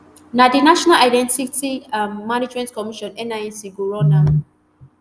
na di national identity um management commission nimc go run am.